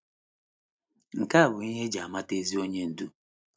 Nke a bụ ihe e ji amata ezi onye ndú.